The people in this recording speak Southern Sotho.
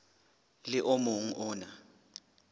le o mong o na